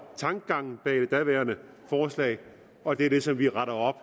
tankegangen bag det daværende forslag og det er det som vi retter op